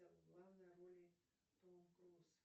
в главной роли том круз